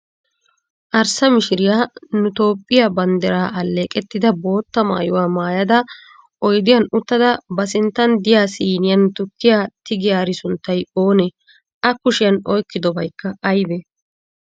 Arssa mishiriy nu toophphiya banddiraa alleeqettida bootta mayyuwa mayyada oyidiyan uttada ba sinttan diya siiniyan tukkiya tigiyaari sunttay oonee? A kushiyan oyikkobayikka ayibee?